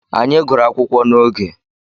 Anyị gụrụ akwụkwọ n'oge.